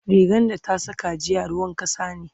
rigan da ta Saka jiya ruwan kasa ne